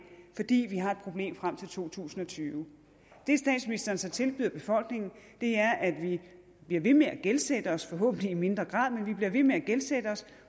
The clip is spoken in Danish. fordi vi har et problem frem til to tusind og tyve det statsministeren så tilbyder befolkningen er at vi bliver ved med at gældsætte os forhåbentlig i mindre grad men vi bliver ved med at gældsætte os